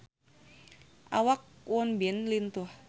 Awak Won Bin lintuh